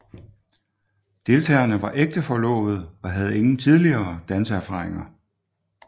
Deltagerne var ægte forlovede og havde ingen tidligere danseerfaringer